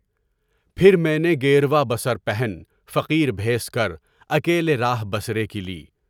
پھر میں نے گِروا بصر پہن فقیر بھیس کر، اکیلے راہِ بصری کی لی۔